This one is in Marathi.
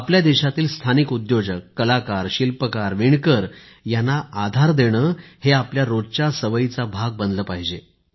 आपल्या देशातील स्थानिक उद्योजक कलाकार शिल्पकार विणकर यांना आधार देणे हे आपल्या रोजच्या सवयीचा भाग बनले पाहिजे